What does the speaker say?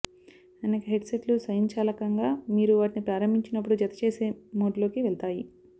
అనేక హెడ్సెట్లు స్వయంచాలకంగా మీరు వాటిని ప్రారంభించినప్పుడు జత చేసే మోడ్లోకి వెళ్తాయి